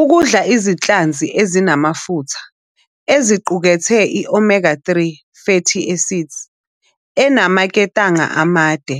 Ukudla izinhlanzi ezinamafutha eziqukethe i- omega-3 fatty acids enamaketanga amade